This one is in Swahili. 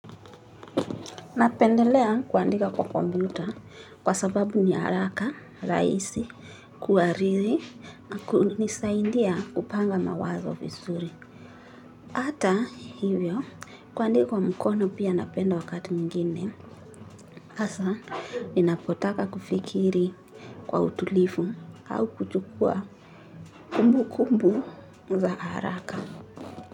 Napendelea kuandika kwa komputa kwa sababu ni haraka, rahisi, kuhariri, na kunisaidia kupanga mawazo vizuri. Ata hivyo, kuandika kwa mkono pia napenda wakati mwigine, hasa ninapotaka kufikiri kwa utulivu au kuchukua kumbukumbu za haraka.